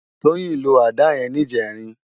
Toyin ló àdá yèn nijèrín